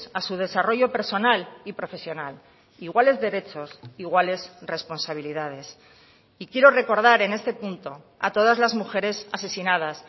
a su desarrollo personal y profesional iguales derechos iguales responsabilidades y quiero recordar en este punto a todas las mujeres asesinadas